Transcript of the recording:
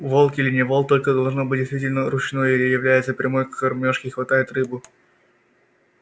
волк или не волк только должно быть действительно ручной или является прямо к кормёжке и хватает рыбу